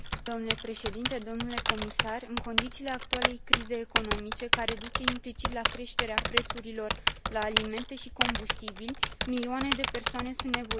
În condițiile actualei crize economice, care duce implicit la creșterea prețurilor la alimente și combustibili, milioane de persoane sunt nevoite să se confrunte cu sărăcia.